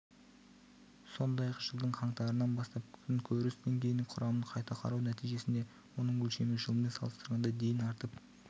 сондай-ақ жылдың қаңтарынан бастап күнкөріс деңгейінің құрамын қайта қарау нәтижесінде оның өлшемі жылмен салыстырғанда дейін артып